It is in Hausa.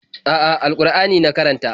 A'a, al-Ƙur'ani na karanta.